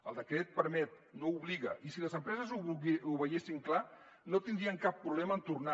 el decret permet no obliga i si les empreses ho veiessin clar no tindrien cap problema en tornar